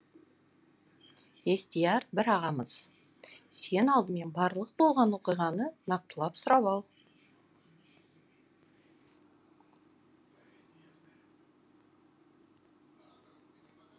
естияр бір ағамыз сен алдымен барлық болған оқиғаны нақтылап сұрап ал